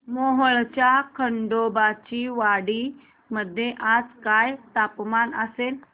मोहोळच्या खंडोबाची वाडी मध्ये आज काय तापमान असेल